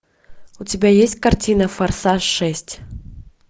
у тебя есть картина форсаж шесть